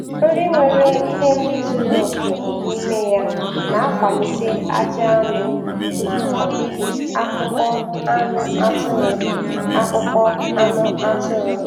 Nri nwere ihe ndị zuru oke n' ime ya na-akwalite ajị anụ na ọdịdị akpụkpọ anụ atụrụ. akpụkpọ anụ atụrụ.